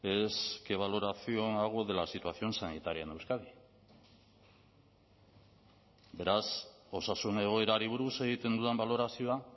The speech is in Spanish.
es qué valoración hago de la situación sanitaria en euskadi beraz osasun egoerari buruz egiten dudan balorazioa